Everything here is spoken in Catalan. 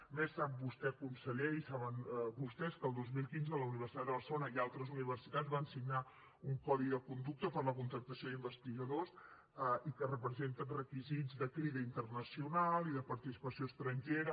a més sap vostè conseller i ho saben vostès que el dos mil quinze la universitat de barcelona i altres universitats van signar un codi de conducta per a la contractació d’investigadors i que representa requisits de crida internacional i de participació estrangera